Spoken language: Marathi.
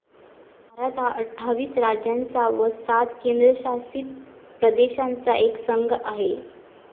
भारत हा अठ्ठावीस राज्यांचा व सात केंद्रशासित प्रदेशांचा एक संघ आहे.